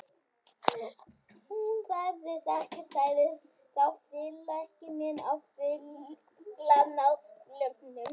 Hún þarf þessa ekki sagði þá félagi minn á fölgula náttsloppnum.